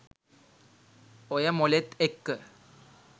ඔය මොලෙත් එක්ක